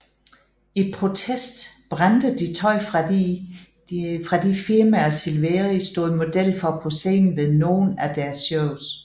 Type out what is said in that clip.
I protest brændte de tøj fra de firmaer Silveria stod model for på scenen ved nogen af deres shows